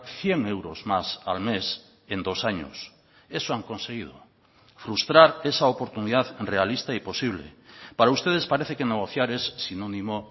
cien euros más al mes en dos años eso han conseguido frustrar esa oportunidad realista y posible para ustedes parece que negociar es sinónimo